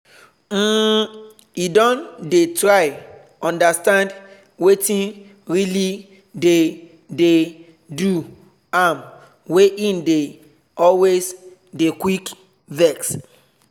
um e don dey try understand wetin really dey dey do am wey e dey always dey quick vex